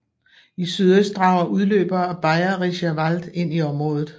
I sydøst rager udløbere af Bayerischer Wald ind i området